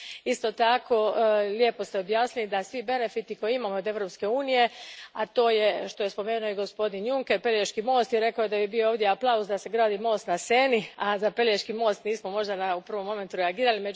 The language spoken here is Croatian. Isto tako, lijepo ste objasnili da svi benefiti koje imamo od Europske unije, a to je što je spomenuo i gospodin Juncker, Pelješki most, i rekao je da bi bio ovdje aplauz da se gradi most na Seni, a za Pelješki most nismo možda u prvom momentu reagirali.